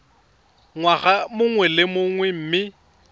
ngwaga mongwe le mongwe mme